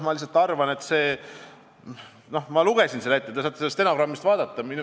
Ma arvan, et ma lugesin selle ette ja te saate seda vastust stenogrammist lugeda.